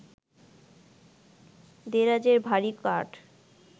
দেরাজের ভারি কাঠ